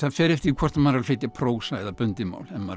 fer eftir því hvort maður er að flytja prósa eða bundið mál ef maður